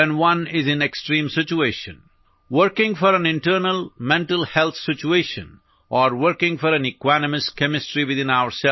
ഒരു വ്യക്തി ഗുരുതരമായ അവസ്ഥയിൽ ആയിരിക്കുമ്പോൾ മരുന്നുകളുടെ രൂപത്തിൽ പുറത്തുനിന്നുള്ള രാസവസ്തുക്കൾ കഴിക്കേണ്ടത് ആവശ്യമാണെന്നു നാം മനസിലാക്കേണ്ടതുണ്ട്